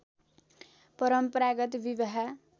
परम्परागत विवाह